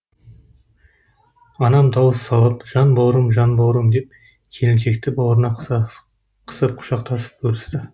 анам дауыс салып жан бауырым жан бауырым деп келіншекті бауырына қысып құшақтасып көрісті